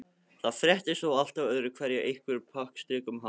Það fréttist þó alltaf öðru hverju af einhverjum prakkarastrikum hans.